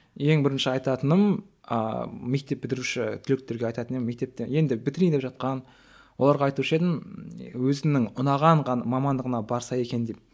ең бірінші айтатыным ыыы мектеп бітіруші түлектерге айтатын едім мектепті енді бітірейін деп жатқан оларға айтушы едім өзінің ұнаған мамандығына барса екен деп